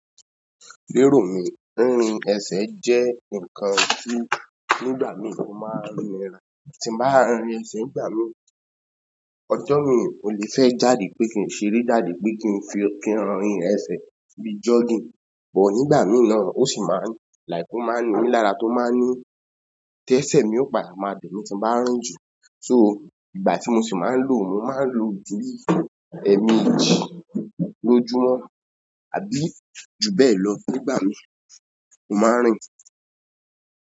Lérò mi, rírin ẹsẹ̀ jẹ́ ǹkan tí nígbà mí mo máa ń rìn rìn. Tí n bá ń rín ẹsẹ̀ nígbà mí, ọjọ́ mi ò lè fẹ́ jáde pé kí n ṣeré jáde pé kí n fi rín ẹsẹ̀ bíi jogging. Ò nígbà mí náà ó sì máa ń láiki o máa ní mi lára tó máa ń ní tí ẹsẹ̀ mi ó pa máa bẹ̀ mí tí mo bá ń rún jù. So ìgbà tí mo sì máa ń lò, mo máa ń lo díì ẹ́me jì lójúmọ́. Àbí jubẹlọ nígbà mi mo maa n rin.